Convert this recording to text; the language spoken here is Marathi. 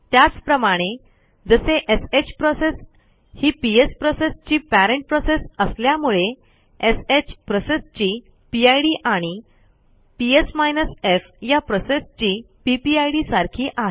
त्याचप्रमाणे जसे श प्रोसेस ही पीएस प्रोसेसची पेरेंट प्रोसेस असल्यामुळे श प्रोसेसची पिड आणि पीएस माइनस एफ या प्रोसेसची पीपीआयडी सारखी आहे